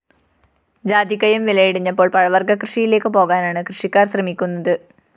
ജാതിക്കയും വില ഇടിഞ്ഞപ്പോള്‍ പഴവര്‍ഗ്ഗ കൃഷിയിലേക്ക് പോകാനാണ് കൃഷിക്കാര്‍ ശ്രമിക്കുന്നത്